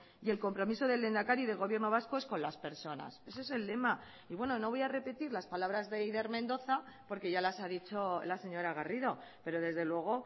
y el compromiso del lehendakari del gobierno vasco es con las personas ese es el lema y bueno no voy a repetir las palabras de eider mendoza porque ya las ha dicho la señora garrido pero desde luego